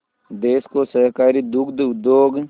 देश को सहकारी दुग्ध उद्योग